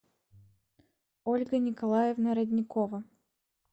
ольга николаевна родникова